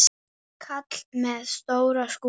Kall með stóra skúffu.